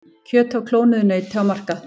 Kjöt af klónuðu nauti á markað